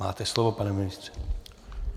Máte slovo, pane ministře.